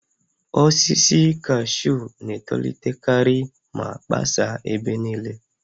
Osisi kashuu na-etolitekarị ma gbasaa ebe niile